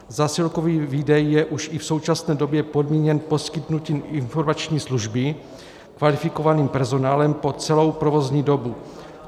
Zásilkový výdej je už i v současné době podmíněn poskytnutím informační služby kvalifikovaným personálem po celou provozní dobu.